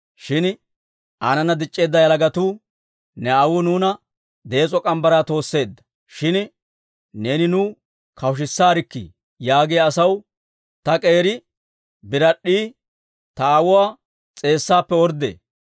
Shin aanana dic'c'eedda yalagatuu, « ‹Ne aawuu nuuna dees'o morgge mitsaa toosseedda; shin neeni nuw kawushisaarkkii› yaagiyaa asaw, ‹Ta k'eeri birad'd'ii ta aawuwaa s'eessaappe orddee.